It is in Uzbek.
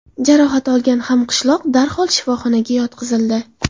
Jarohat olgan hamqishloq darhol shifoxonaga yotqizildi.